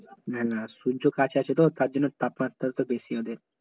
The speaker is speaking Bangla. না না সূর্য কাছে আসে তো তার জন্য তাপ মাত্রা টা বেশি ওদের